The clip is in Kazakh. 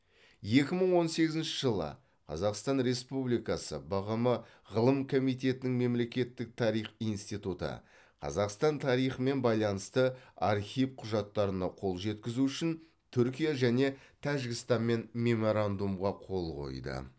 екі мың он сегізінші жылы қазақстан республикасы бғм ғылым комитетінің мемлекеттік тарих институты қазақстан тарихымен байланысты архив құжаттарына қол жеткізу үшін түркия және тәжікстанмен меморандумға қол қойды